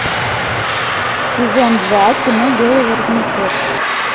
сезон два кино белый воротничок